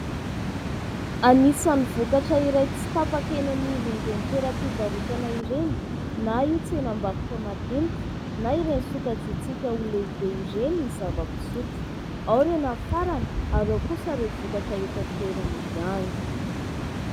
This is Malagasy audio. Anisan'ny vokatra iray tsy tapaka eny anivon'ireny toeram-pivarotana ireny na io tsenam-barotra madinika na ireny sokajitsika ho lehibe ireny ny zava-pisotro, ao ireo nafarana ary eo kosa ireo vokatra eto an-toerana ihany.